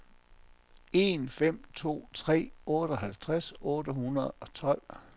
en fem to tre otteoghalvtreds otte hundrede og tolv